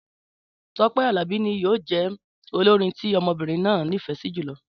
Tọ́pẹ́ Àlàbí ni yíò jẹ olórin tí ọmọbìrin náà ní ìfẹ sí jùlọ